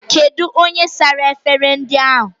Kedụ onye sara efere ndị ahụ?